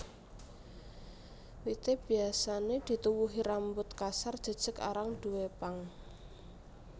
Wité biasané dituwuhi rambut kasar jejeg arang duwé pang